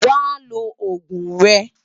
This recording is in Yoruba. Wá ló ógún rè